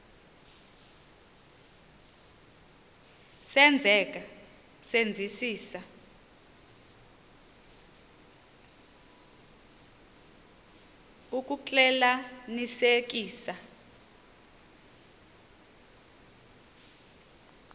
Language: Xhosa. senzeka senzisisa ukuxclelanisekisisa